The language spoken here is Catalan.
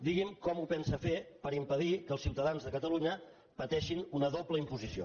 digui’m com ho pensa fer per impedir que els ciutadans de catalunya pateixin una doble imposició